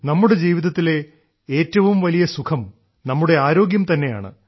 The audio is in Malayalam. നമ്മുടെ ജീവിതത്തിലെ ഏറ്റവും വലിയ സുഖം നമ്മുടെ ആരോഗ്യം തന്നെയാണ്